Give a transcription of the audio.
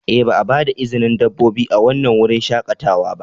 Ee, ba a ba da izinin dabbobi a wannan wurin shakatawa ba.